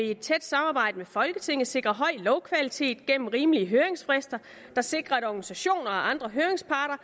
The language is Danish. i et tæt samarbejde med folketinget vil sikre høj lovkvalitet gennem rimelige høringsfrister der sikrer at organisationer og andre høringsparter